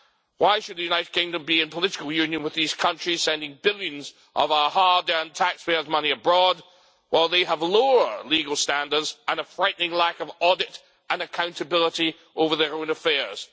Why should the United Kingdom be in political union with these countries sending billions of our hard earned taxpayers' money abroad while they have lower legal standards and a frightening lack of audit and accountability over their own affairs?